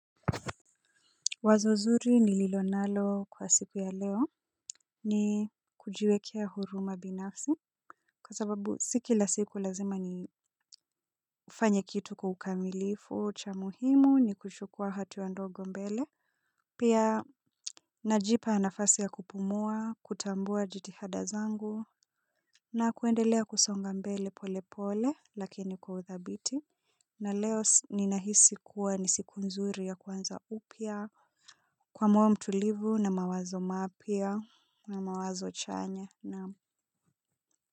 Wazo zuri nililo nalo kwa siku ya leo ni kujiwekea huruma binafsi kwa sababu si kila siku lazima ni ufanye kitu kwa ukamilifu cha muhimu ni kushukua hatua ndogo mbele. Pia najipa nafasi ya kupumua, kutambua jitihada zangu na kuendelea kusonga mbele pole pole lakini kwa uthabiti. Na leo ninahisi kuwa ni siku nzuri ya kwanza upya kwa moyo mtulivu na mawazo mapya na mawazo chanya na.